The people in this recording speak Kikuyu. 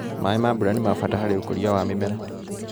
Maĩ ma mbura nĩmabata harĩ ũkuria wa mĩmera.